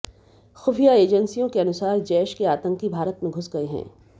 खुफिया एजेंसियों के अनुसार जैश के आतंकी भारत में घुस गए हैं